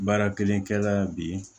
Baara kelenkɛla bi